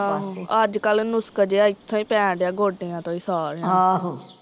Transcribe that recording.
ਆਹੋ ਅੱਜ ਕੱਲ ਨੁਸਕ ਜਿਹਾ ਏਥੋਂ ਈ ਪੈਣ ਡਿਆ ਗੋਡਿਆਂ ਤੋਂ ਈ, ਸਾਰਿਆ ਨੂੰ ਆਹ